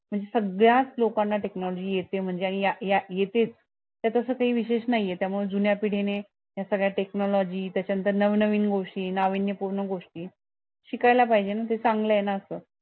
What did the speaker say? सगळ्याच लोकांना technology येते म्हणजे आणि या या येतेच त्यात असं काही विशेष नाहीये त्या मुळे जुन्या पिढी नि या सगळ्या technology त्याच्या नंतर नवं नवीन गोष्टी लावण्यपूर्ण गोष्टी शिकायला पाहिजे ना ते चांगलं ये ना असं